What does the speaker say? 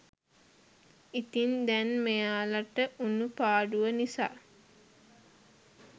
ඉතින් දැන් මෙයාලට වුනු පාඩුව නිසා